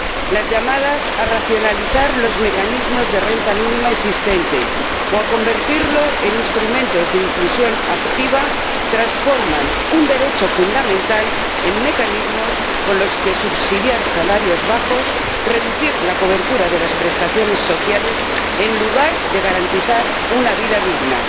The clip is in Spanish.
Las llamadas a racionalizar los mecanismos de renta mínima existentes o a convertirlos en instrumentos de inclusión activa transforman un derecho fundamental en mecanismos con los que subsidiar salarios bajos y reducir la cobertura de las prestaciones sociales, en lugar de garantizar una vida digna.